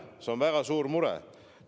See on väga suur mure!